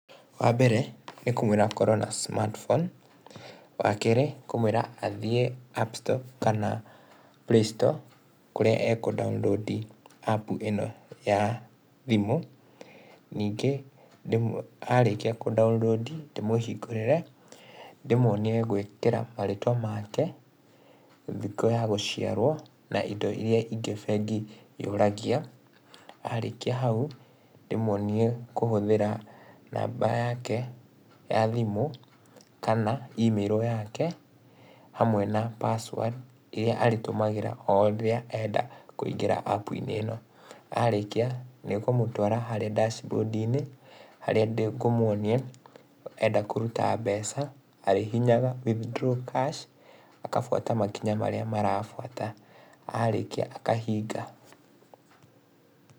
Wa mbere nĩ kũmwĩra akorwo na smartphone, wa kerĩ nĩ kũmwĩra athiĩ app store kana play store kũrĩa ekũ download app ĩno ya thimũ, ningĩ arĩkia kũ download ndĩ mũhingũrĩre, ndĩ muonie gwĩkĩra marĩtwa make, thikũ ya gũciarwo na ĩndo ĩrĩa ĩngĩ bengi yũragia. Arĩkia hau ndĩ muonie kũhũthĩra namba yake ya thimũ kana email yake hamwe na password ĩria arĩtũmagĩra rĩrĩa enda kũingĩra app inĩ ĩno. Arĩkia nĩ kũmũtwara harĩa dashboard inĩ harĩa ngũmuonia enda kũruta mbeca arĩhihinyaga withdraw cash akafuata makinya marĩa marafuata, arĩkia akahinga.